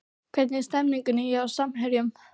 Hvernig er stemningin hjá Samherjum?